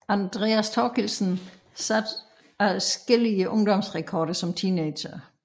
Andreas Thorkildsen satte adskillige ungdomsrekorder som teenager